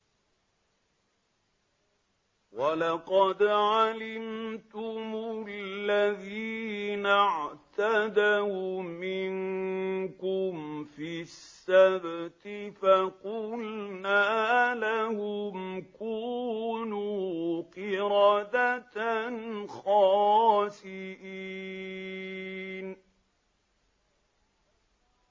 وَلَقَدْ عَلِمْتُمُ الَّذِينَ اعْتَدَوْا مِنكُمْ فِي السَّبْتِ فَقُلْنَا لَهُمْ كُونُوا قِرَدَةً خَاسِئِينَ